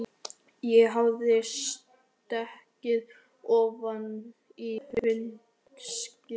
Ég hafði stigið ofan í hundaskít.